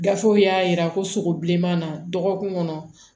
Gafew y'a jira ko sogo bilenman na dɔgɔkun kɔnɔ